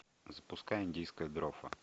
запускай индийская дрофа